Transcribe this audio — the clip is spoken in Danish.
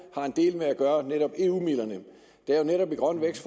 har en del med at gøre nemlig eu midlerne er der netop i grøn vækst